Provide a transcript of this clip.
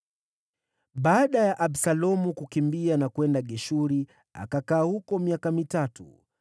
Baada ya Absalomu kukimbia na kwenda Geshuri, akakaa huko miaka mitatu.